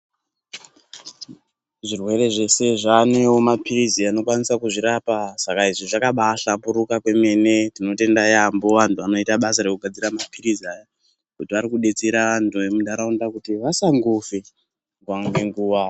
Zvirwere zvese zvaanewo mapirizi anokwanisa kuzvirapa saka izvi zvakaba hlamburuka kwemene tinotenda yeyamho anhu anoite basa rekugadzira mapirizi aya nekuti arikuba abetsera anhu emunharaunda kuti vasangofe nguva ngenguva.